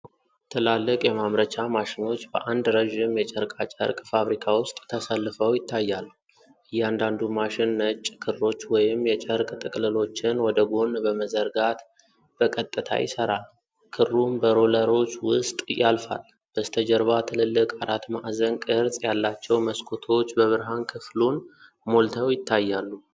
ትላልቅ የማምረቻ ማሽኖች በአንድ ረዥም የጨርቃ ጨርቅ ፋብሪካ ውስጥ ተሰልፈው ይታያሉ። እያንዳንዱ ማሽን ነጭ ክሮች ወይም የጨርቅ ጥቅልሎችን ወደ ጎን በመዘርጋት በቀጥታ ይሰራል፤ ክሩም በሮለሮች ውስጥ ያልፋል። በስተጀርባ ትልልቅ አራት ማዕዘን ቅርጽ ያላቸው መስኮቶች በብርሃን ክፍሉን ሞልተው ይታያሉ።